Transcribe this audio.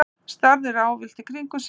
Starði ráðvillt í kringum sig.